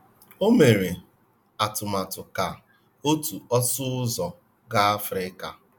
Ọ mere atụmatụ ka otu ọsụ ụzọ gaa Africa.